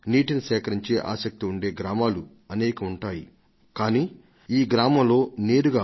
నీటిని నిల్వ చేయాలనే ఆసక్తి వ్యక్తమయ్యే పల్లెలను ఎవరైనా అనేకంగా చూడవచ్చు